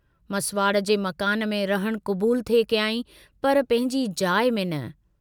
मसवाडु जे मकान में रहणु कबूल थे कयांई पर पंहिंजी जाइ में न।